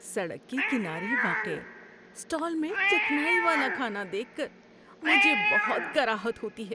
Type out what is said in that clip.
‏سڑک کے کنارے واقع اسٹال میں چکنائی والا کھانا دیکھ کر مجھے بہت کراہت ہوتی ہے۔